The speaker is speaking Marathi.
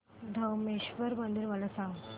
धरमेश्वर मंदिर मला सांग